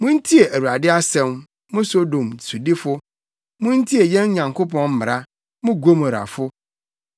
Muntie Awurade asɛm, mo Sodom sodifo; muntie yɛn Nyankopɔn mmara, mo Gomorafo!